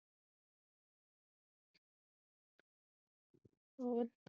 ਹੋਰ?